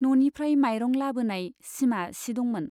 न'निफ्राय माइरं लाबोनाय सिमा सि दंमोन।